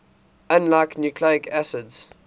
unlike nucleic acids